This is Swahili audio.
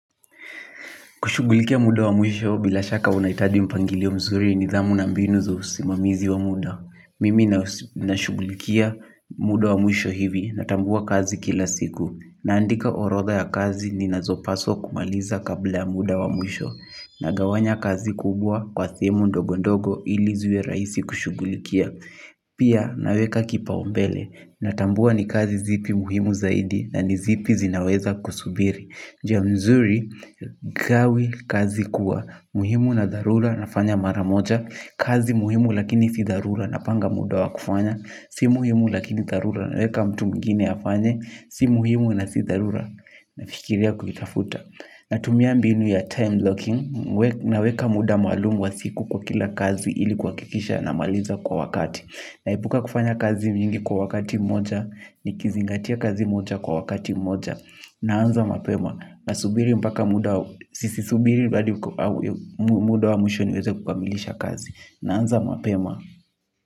Kushugulikia muda wa mwisho bila shaka unaitaji mpangilio mzuri nidhamu na mbinu za usimamizi wa muda. Mimi nashugulikia muda wa mwisho hivi natambua kazi kila siku. Naandika orodha ya kazi ni nazopaswa kumaliza kabla muda wa mwisho. Nagawanya kazi kubwa kwa thimu ndogondogo ili ziwe raisi kushugulikia. Pia naweka kipa umbele natambua ni kazi zipi muhimu zaidi na nizipi zinaweza kusubiri. Njia mzuri, gawi kazi kuwa muhimu na dharura na fanya maramoja. Kazi muhimu lakini si dharura napanga muda wa kufanya. Si muhimu lakini dharura na weka mtu mwingine afanye. Si muhimu na si dharura nafikiria kuitafuta. Natumia mbinu ya time blocking. Naweka muda malumu wa siku kwa kila kazi ili kuwakikisha namaliza kwa wakati. Naepuka kufanya kazi mingi kwa wakati moja. Nikizingatia kazi moja kwa wakati moja. Naanza mapema. Nasubiri mpaka muda sisi subiri hadi muda wa mwisho niweze kukamilisha kazi. Naanza mapema.